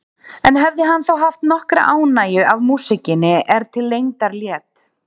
En hefði hann þá haft nokkra ánægju af músíkinni er til lengdar lét?